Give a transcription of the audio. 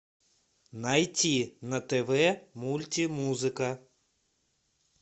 найти на тв мультимузыка